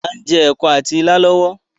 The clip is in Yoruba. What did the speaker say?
Áà ń jẹ́ ẹ̀kọ àti ìlà lọ́wọ́